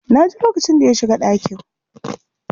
Na ji lokacin da ya shiga ɗakin.